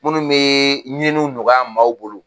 Munnu be ɲiniw nɔgɔya maaw bolo